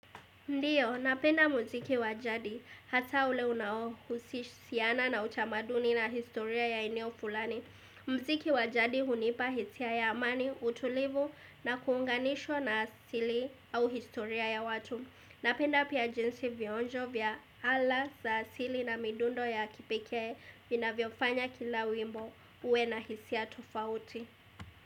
Ndiyo, napenda muziki wa jadi hata ule unao husishiana na utamaduni na historia ya eneo fulani. Mziki wa jadi hunipa hisia ya amani, utulivu na kuunganishwa na asili au historia ya watu. Napenda pia jinsi vionjo vya ala za asili na midundo ya kipekee vina vyofanya kila wimbo uwe na hisia tofauti.